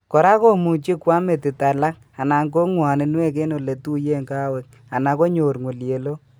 Kora komuchi ko am metit alak anan ko ngwaninwek eng ole tuiye kawek anan konyor ngulyelok